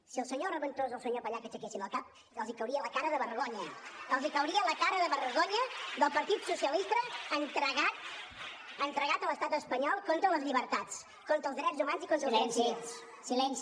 si el senyor reventós o el senyor pallach aixequessin el cap els cauria la cara de vergonya els cauria la cara de vergonya del partit socialista entregat a l’estat espanyol contra les llibertats contra els drets humans i contra els drets civils